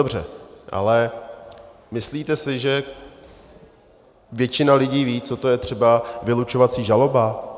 Dobře, ale myslíte si, že většina lidí ví, co to je třeba vylučovací žaloba?